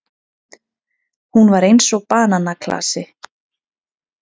Hún var eins og bananaklasi.